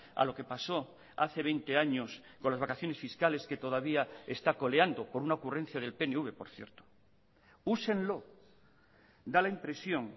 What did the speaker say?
a lo que pasó hace veinte años con las vacaciones fiscales que todavía está coleando por una ocurrencia del pnv por cierto úsenlo da la impresión